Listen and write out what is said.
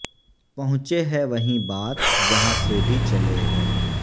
پہونچے ہے وہیں بات جہاں سے بھی چلے ہے